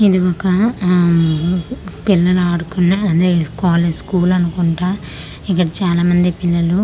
ఇది ఒక ఆ పిల్లల ఆడుకునే అదే కాలేజ్ స్కూల్ అనుకుంటా ఇక్కడ చాలా మంది పిల్లలు--